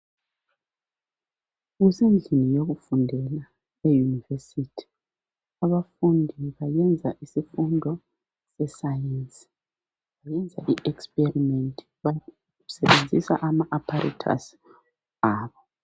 Kusendlini yokufundela eyunivesithi abafundi bayenza isifundo se science benza iexperiment basebenzisa ama apparatus abo.